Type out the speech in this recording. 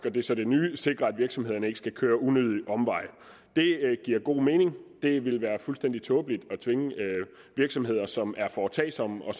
og det er så det nye sikrer at virksomhederne ikke skal køre unødige omveje det giver god mening det ville være fuldstændig tåbeligt at tvinge virksomheder som er foretagsomme og